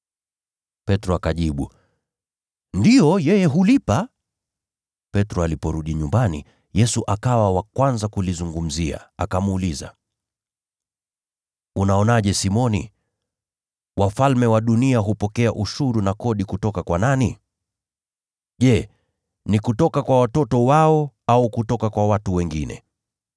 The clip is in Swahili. Petro akajibu, “Ndiyo, yeye hulipa.” Petro aliporudi nyumbani, Yesu akawa wa kwanza kulizungumzia, akamuuliza, “Unaonaje Simoni? Wafalme wa dunia hupokea ushuru na kodi kutoka kwa nani? Je, ni kutoka kwa watoto wao au kutoka kwa watu wengine?”